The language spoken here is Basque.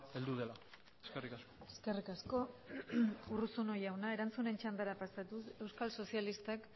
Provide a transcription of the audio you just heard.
heldu dela eskerrik asko eskerrik asko urruzuno jauna erantzunen txandara pasatuz euskal sozialistak